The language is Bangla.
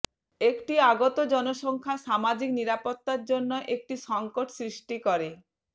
একটি আগত জনসংখ্যা সামাজিক নিরাপত্তা জন্য একটি সংকট সৃষ্টি করে